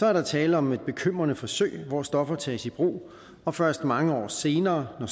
er der tale om et bekymrende forsøg hvor stoffer tages i brug og først mange år senere når